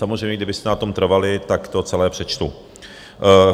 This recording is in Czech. Samozřejmě, kdybyste na tom trvali, tak to celé přečtu.